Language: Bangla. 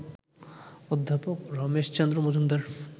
অধ্যাপক রমেশচন্দ্র মজুমদার